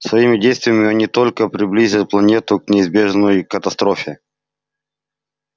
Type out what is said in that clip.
своими действиями они только приблизят планету к неизбежной катастрофе